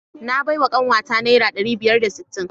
Na bawa kanwata naira ɗari biyar da sittin.